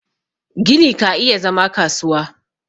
gini ka iya zama kasuwa